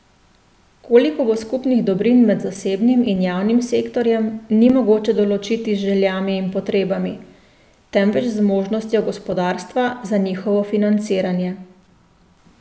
Koliko bo skupnih dobrin med zasebnim in javnim sektorjem, ni mogoče določiti z željami in potrebami, temveč z zmožnostjo gospodarstva za njihovo financiranje.